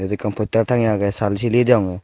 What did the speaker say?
ekkan postar tangeye agey saal sileye degong.